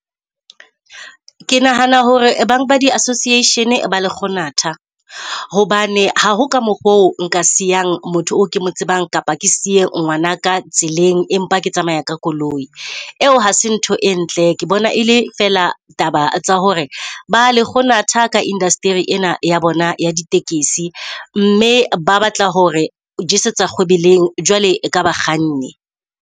Ke nahana hore bang ba di-association ba lekgonatha hobane ha ho ka mokgo nka siyang motho o kemo tsebang, kapa ke siye ngwanaka tseleng, empa ke tsamaya ka koloi. Eo ha se ntho e ntle, ke bona ele fela taba tsa hore ba lekgonanatha ka industry-eng ena ya bona ya ditekesi, mme ba batla hore o jesetse kgwebeleng jwale ka ba kganni.